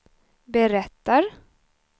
berättar